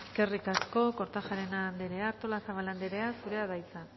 andrea eskerrik asko kortajarena andrea artolazabal andrea zurea da hitza